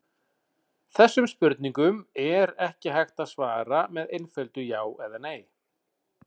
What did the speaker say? Þessum spurningum er ekki hægt að svara með einföldu já eða nei.